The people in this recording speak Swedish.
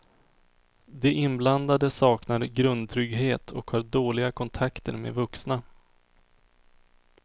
De inblandade saknar grundtrygghet och har dåliga kontakter med vuxna.